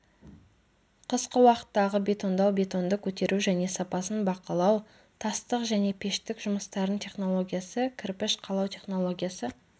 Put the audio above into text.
қысқы уақыттағы бетондау бетонды көтеру және сапасын бақылау тастық және пештік жұмыстардың технологиясы кірпіш қалау технологиясы